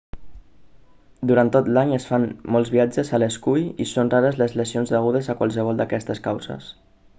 durant tot l'any es fan molts viatges a l'escull i són rares les lesions degudes a qualsevol d'aquestes causes